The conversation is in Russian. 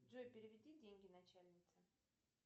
джой переведи деньги начальнице